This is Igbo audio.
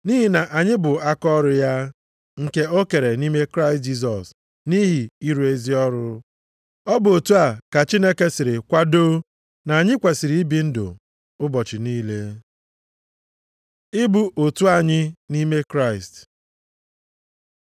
Nʼihi na anyị bụ akaọrụ ya, nke o kere nʼime Kraịst Jisọs nʼihi ịrụ ezi ọrụ. Ọ bụ otu a ka Chineke siri kwadoo na anyị kwesiri ibi ndụ ụbọchị niile. Ịbụ otu anyị nʼime Kraịst